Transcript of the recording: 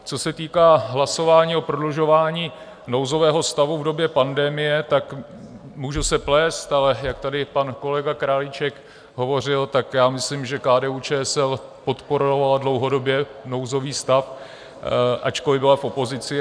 Co se týká hlasování o prodlužování nouzového stavu v době pandemie, tak můžu se plést, ale jak tady pan kolega Králíček hovořil, tak já myslím, že KDU-ČSL podporovala dlouhodobě nouzový stav, ačkoliv byla v opozici.